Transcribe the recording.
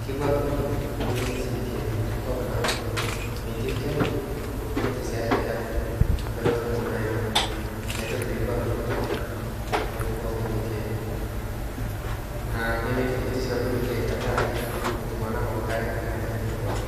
Keibuarr nkujita nemetii sii irkeek, nkop naaku metii ilcheni neitu sii echa inchan mperot kumok naima. Inatoki peibuarr nkujita te ng'oji pookin netii ene. Nemetii eitu sii ebulu irkeek tengaraki metum anakop inkare te nkatitin pookin.